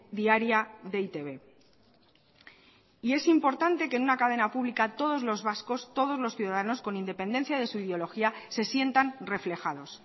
diaria de e i te be es importante que en una cadena pública todos los vascos todos los ciudadanos con independencia de su ideología se sientan reflejados